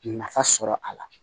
Nafa sɔrɔ a la